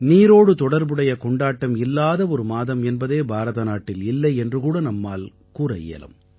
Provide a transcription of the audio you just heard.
நீரோடு தொடர்புடைய கொண்டாட்டம் இல்லாத ஒரு மாதம் என்பதே பாரதநாட்டில் இல்லை என்று கூட நம்மால் கூற இயலும்